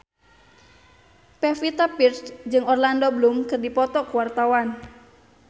Pevita Pearce jeung Orlando Bloom keur dipoto ku wartawan